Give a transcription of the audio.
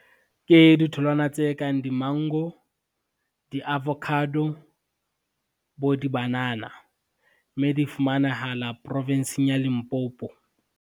Ke ditholwana tse kang di-mango, di-avocado, bo di-banana, mme di fumanahala profinsing ya Limpopo.